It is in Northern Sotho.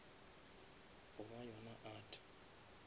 goba yona art